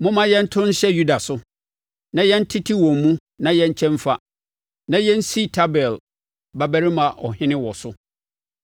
“Momma yɛnto nhyɛ Yuda so, na yɛntete wɔn mu na yɛnkyɛ mfa, na yɛnsi Tabeel babarima ɔhene wɔ so.”